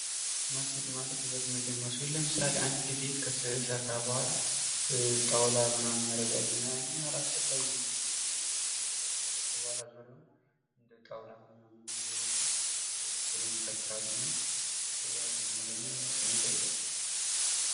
ማስጌጥ ማለት ዉበት መጨመር ሲሆን ለምሳሌ አንድ ቤት ከተሰራ በኋላ ጣዉላ ምናምን ያደርጋሉ እና ያኔ አላስፈላጊ ነዉ የሚሆነዉ። እንደጣዉላ ዙሪያዉን ይከትራሉ እና ያ ለእኔ ስሜት አይሰጥም።